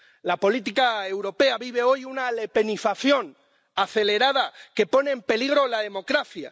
La política europea vive hoy una lepenización, acelerada, que pone en peligro la democracia.